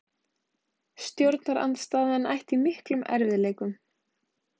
Stjórnarandstaðan ætti í miklum erfiðleikum